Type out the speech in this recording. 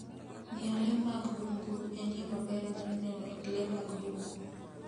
Ng'iyo le mag bungu en yo maber mar neno le mag bungu.